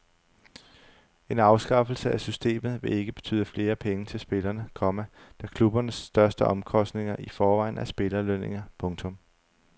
En afskaffelse af systemet vil ikke betyde flere penge til spillerne, komma da klubbernes største omkostninger i forvejen er spillerlønninger. punktum